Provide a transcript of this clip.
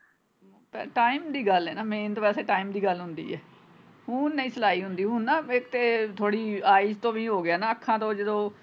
Time ਦੀ ਗੱਲ ਏ ਨਾ main ਤੇ ਵੈਸੇ time ਦੀ ਗੱਲ ਹੁੰਦੀ ਹੈ ਹੁਣ ਨਹੀਂ ਸਲਾਈ ਹੁੰਦੀ ਹੁਣ ਨਾ ਬੇਟੇ ਥੋੜੀ eye ਤੋਂ ਵੀ ਹੋਗਿਆ ਨਾ ਅੱਖਾਂ ਤੋਂ ਜਦੋਂ।